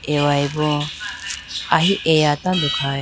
aweya bo ahi eya tando khaye.